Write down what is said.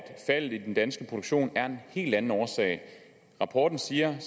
faldet i den danske produktion er en helt anden årsag rapporten siger